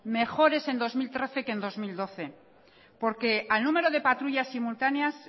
mejores en dos mil trece que en dos mil doce porque al número de patrullas simultáneas